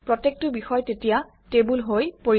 প্ৰত্যেকটো বিষয় তেতিয়া টেবুল হৈ পৰিব